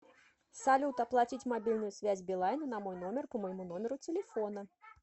салют оплатить мобильную связь билайна на мой номер по моему номеру телефона